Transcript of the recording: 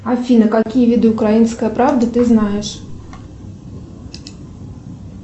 афина какие виды украинской правды ты знаешь